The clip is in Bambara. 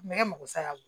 Nɛgɛ mago sa